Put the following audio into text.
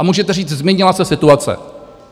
A můžete říct - změnila se situace.